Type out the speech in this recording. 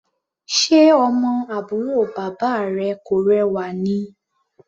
Ṣe ọmọ àbúrò bàbá rẹ kò rẹwà ni?